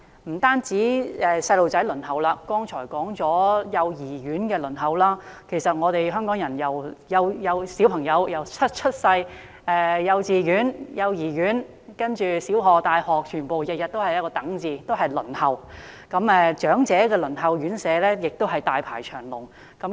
不單兒童要輪候——剛才指出了幼兒園的輪候情況——其實香港的小朋友由出生、入讀幼兒園、幼稚園、小學、大學全都要輪候，到輪候長者院舍時亦大排長龍。